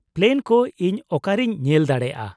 -Plan ᱠᱚ ᱤᱧ ᱚᱠᱟᱨᱮᱧ ᱧᱮᱞ ᱫᱟᱲᱮᱭᱟᱜᱼᱟ ?